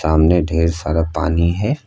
सामने ढेर सारा पानी है।